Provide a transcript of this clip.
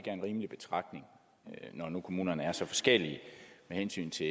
er en rimelig betragtning når nu kommunerne er så forskellige med hensyn til